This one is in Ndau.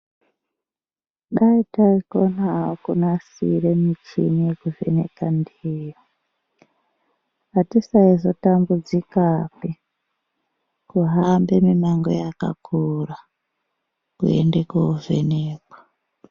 Dai taikonao kumasire michini yekuvheneka ndiyo atisaizotambidzikapi kuhambe mimango yakakura kuende kovhenekwa.